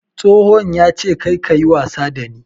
Tsohon yace karka yi wasa da ni!